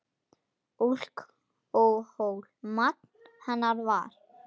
Alkóhól magn hennar var.